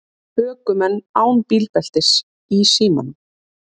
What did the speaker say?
Ökumenn án bílbeltis í símanum